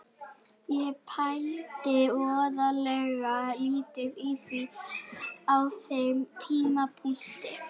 Ég pældi voðalega lítið í því á þeim tímapunkti.